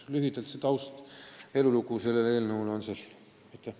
Lühidalt on selle eelnõu taust niisugune.